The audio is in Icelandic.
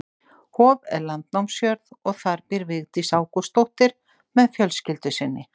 Hof er landnámsjörð og þar býr Vigdís Ágústsdóttir með fjölskyldu sinni.